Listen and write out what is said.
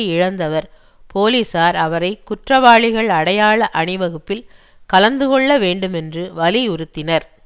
இழந்தவர் போலீசார் அவரை குற்றவாளிகள் அடையாள அணி வகுப்பில் கலந்து கொள்ள வேண்டுமென்று வலியுறுத்தினர்